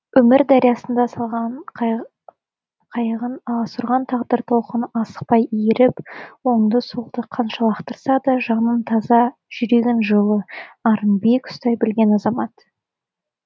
өмір дариясына салған қайығын аласұрған тағдыр толқыны асықтай иіріп оңды солды қанша лақтырса да жанын таза жүрегін жылы арын биік ұстай білген азамат